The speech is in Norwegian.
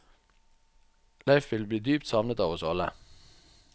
Leif vil bli dypt savnet av oss alle.